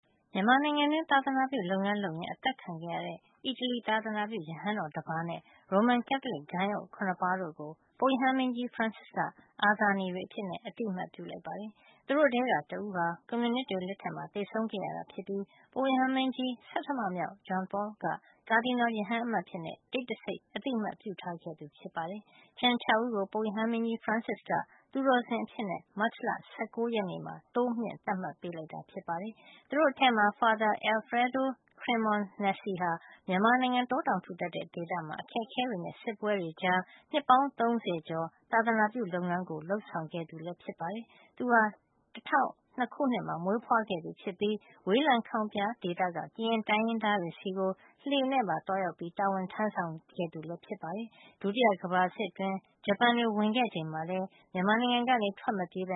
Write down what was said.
မြန်မာနိုင်ငံတွင်း သာသနာပြုလုပ်ငန်း လုပ်ရင်း အသတ်ခံခဲ့ရတဲ့ အီတလီ သာသနာပြု ရဟန်းတော်တပါးနဲ့ ရိုမန်ကက်သလစ် ဂိုဏ်းအုပ် ၇ ပါးတို့ကို ပုပ်ရဟန်းမင်းကြီး ဖရန်စစ်က အာဇာနည်တွေ အဖြစ် အသိမှတ် ပြုလိုက်ပါတယ်။ သူတို့ထဲက တဦးဟာ ကွန်မြူနစ်တွေ လက်တွင်းမှာ သေဆုံးခဲ့ရတာ ဖြစ်ပြီး ပုပ်ရဟန်းမင်းကြီး ဆဌမမြောက် ဂျွန်ပေါလ် က ကာဒီနယ် ရဟန်းအမတ်အဖြစ် တိတ်တဆိတ် အသိမှတ် ပြုထားခဲ့သူ ဖြစ်ပါတယ်။ ကျန် ၆ ဦးကို ပုပ်ရဟန်းမင်းကြီး ဖရန်စစ်က သူတော်စင် အဖြစ် မတ်လ ၁၉ ရက်နေ့မှာ တိုးမြှင့် သတ်မှတ်ပေးခဲ့ပါတယ်။ သူတို့အထဲမှာ Father Alfredo Cremonesi ဟာ မြန်မာနိုင်ငံ တောတောင် ထူထပ်တဲ့ ဒေသမှာ အခက်အခဲတွေနဲ့ စစ်ပွဲတွေ ကြားမှာ နှစ်ပေါင်း ၂၈ နှစ် သာသနာပြု လုပ်ငန်းကို လုပ်ဆောင်ခဲ့သူပါ။ သူဟာ ၁၉၀၂ ခုနှစ်မှာ အီတလီမှာ မွေးဖွားခဲ့သူဖြစ်ပြီး ဝေးလံခေါင်ဖျား ဒေသက ကရင်တိုင်းရင်းသားတွေဆီ လှေနဲ့ သွားရောက်ပြီး တာဝန် ထမ်းဆောင်ခဲ့သူလည်း ဖြစ်ပါတယ်။ ဒုတိယ ကမ္ဘာစစ်အတွင်း ဂျပန်တွေ ဝင်ခဲ့ချိန်မှာလည်း ထွက်မပြေးဘ